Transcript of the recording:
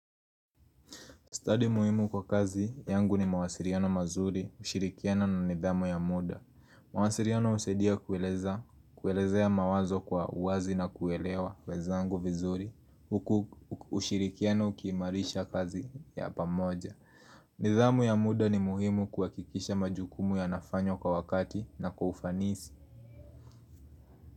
Study muhimu kwa kazi yangu ni mawasiliano mazuri, ushirikiano na nidhamu ya muda. Mawasiliano husaidia kuelezea mawazo kwa uwazi na kuelewa wenzangu vizuri. Ushirikiano uki himarisha kazi ya pamoja. Nidhamu ya muda ni muhimu kuhakikisha majukumu yanafanyowa kwa wakati na kwa ufanisi.